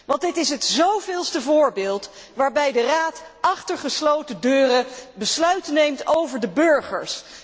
Want dit is het zoveelste voorbeeld waarbij de Raad achter gesloten deuren besluiten neemt over de burgers.